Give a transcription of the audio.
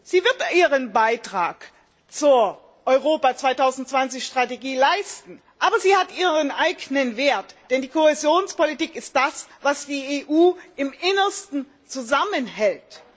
Sie wird ihren Beitrag zur Europa 2020 Strategie leisten, aber sie hat ihren eigenen Wert, denn die Kohäsionspolitik ist das, was die EU im Innersten zusammenhält.